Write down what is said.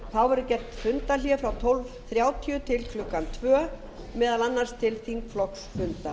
þá verður gert fundarhlé frá klukkan tólf þrjátíu til klukkan tvö núll núll meðal annars til þingflokksfunda